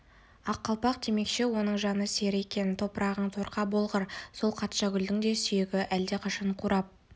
ақ қалпақ демекші оның жаны сірі екен топырағың торқа болғыр сол қатшагүлдің де сүйегі әлдеқашан қурап